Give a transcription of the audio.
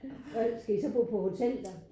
Og skal I så bo på hotel der?